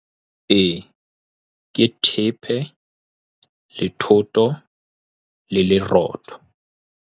Ee, ke thepe le thoto le lerotho.